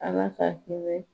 Ala ka